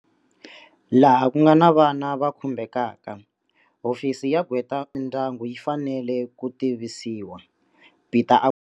Laha ku nga na vana va khumbekaka, Hofisi ya Gqwetakulu Mindyangu yi fanele ku tivisiwa, Peta a.